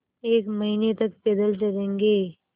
एक महीने तक पैदल चलेंगे